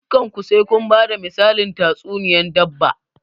Dukan ku sai kun bada misalin tatsuniyan dabba!